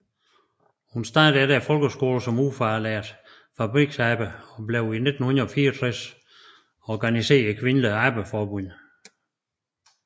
Hun startede efter folkeskolen som ufaglært fabriksarbejder og blev i 1964 organiseret i Kvindeligt Arbejderforbund